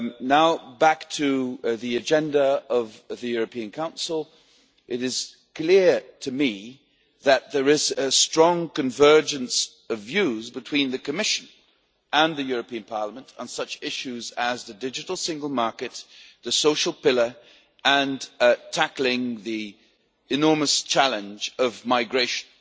Now, going back to the agenda of the European Council, it is clear to me that there is a strong convergence of views between the Commission and the European Parliament on such issues as the digital single market, the social pillar and tackling the enormous challenge of migration.